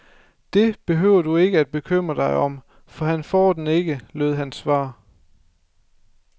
Det behøver du ikke at bekymre dig om, for han får den ikke, lød hans svar.